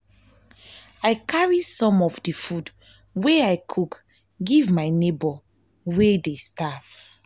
i carry some of di food wey i cook give my nebor wey wey dey starve.